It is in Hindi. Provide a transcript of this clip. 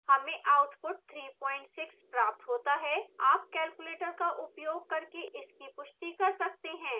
हमें output 36 प्राप्त होता है आप कैलुकुलेटर का उपयोग करके इसकी पुष्टि कर सकते हैं